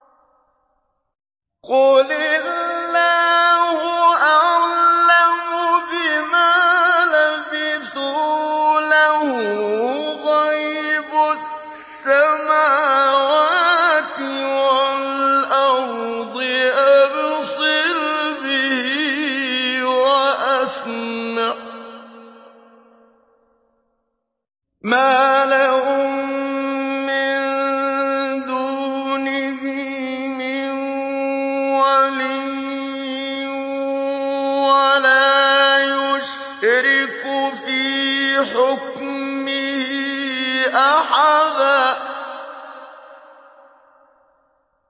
قُلِ اللَّهُ أَعْلَمُ بِمَا لَبِثُوا ۖ لَهُ غَيْبُ السَّمَاوَاتِ وَالْأَرْضِ ۖ أَبْصِرْ بِهِ وَأَسْمِعْ ۚ مَا لَهُم مِّن دُونِهِ مِن وَلِيٍّ وَلَا يُشْرِكُ فِي حُكْمِهِ أَحَدًا